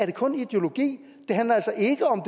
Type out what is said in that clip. det kun er ideologi det handler altså ikke om